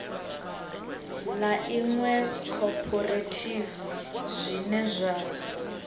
ḽa iṅwe khophorethivi zwine zwa